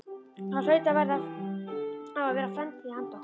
Það hlaut og varð að vera framtíð handa okkur.